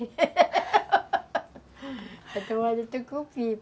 Está tomando o tucupi.